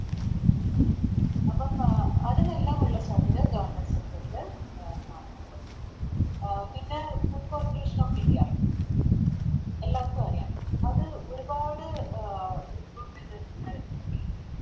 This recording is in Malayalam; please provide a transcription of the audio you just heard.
അപ്പോം അഹ് അതിനെല്ലാം ഉള്ള സാധ്യത Government sector ല് അഹ് കാണുന്നുണ്ട് പിന്നെ Food corporation of india എല്ലാർക്കും അറിയാലോ അത് ഒരുപാട് അഹ് Recruitment നടക്കുന്നൊരു വേദിയാണ്